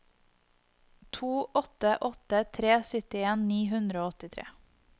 to åtte åtte tre syttien ni hundre og åttitre